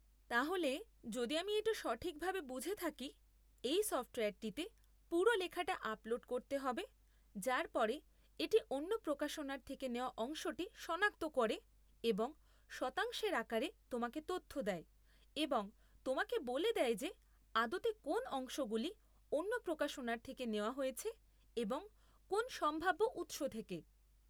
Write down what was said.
তাহলে, যদি আমি এটা সঠিকভাবে বুঝে থাকি, এই সফ্টওয়্যারটিতে পুরো লেখাটা আপলোড করতে হবে, যার পরে এটি অন্য প্রকাশনার থেকে নেওয়া অংশটি শনাক্ত করে এবং শতাংশের আকারে তোমাকে তথ্য দেয় এবং তোমাকে বলে দেয় যে আদতে কোন্‌ অংশগুলি অন্য প্রকাশনার থেকে নেওয়া হয়েছে এবং কোন্‌ সম্ভাব্য উৎস থেকে।